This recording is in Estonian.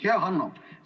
Hea Hanno!